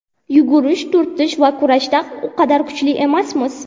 Yugurish, turtish va kurashda u qadar kuchli emasmiz.